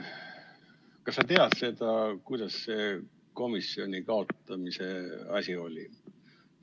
Kas sa tead seda, kuidas see komisjoni kaotamise asi oli?